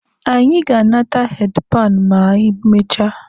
Anyị ga-anata heedi panụ ma anyị mechaa.